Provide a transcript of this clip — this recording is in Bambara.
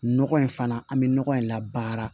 Nɔgɔ in fana an bɛ nɔgɔ in labaara